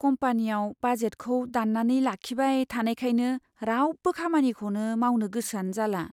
कम्पानियाव बाजेटखौ दान्नानै लाखिबाय थानायखायनो रावबो खामानिखौनो मावनो गोसोआनो जाला।